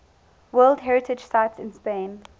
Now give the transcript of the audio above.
world heritage sites in spain